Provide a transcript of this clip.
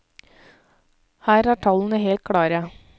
Her er tallene helt klare!